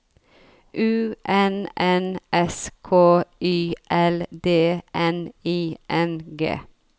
U N N S K Y L D N I N G